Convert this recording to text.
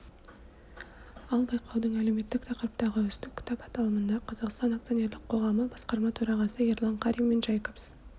ал байқаудың әлеуметтік тақырыптағы үздік кітап аталымында қазақстан акционерлік қоғамы басқарма төрағасы ерлан қарин мен джейкобс